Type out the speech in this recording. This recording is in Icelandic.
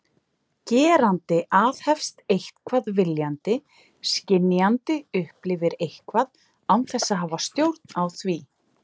Gerandi aðhefst eitthvað viljandi, skynjandi upplifir eitthvað án þess að hafa stjórn á því.